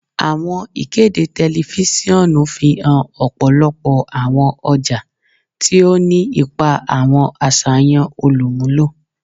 Awọn ikede tẹlifisiọnu fihan ọpọlọpọ awọn ọja, ti o ni ipa awọn aṣayan olumulo.